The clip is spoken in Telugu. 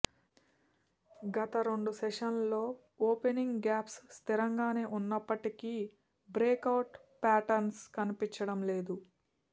గత రెండు సెషన్లలో ఓపెనింగ్ గ్యాప్స్ స్థిరంగానే ఉన్నప్పటికీ బ్రేకవుట్ ప్యాటర్న్స్ కనిపించం లేదు